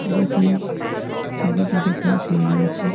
যেখানে সাইড -এ সাইড -এ গাছ লাগা আছে।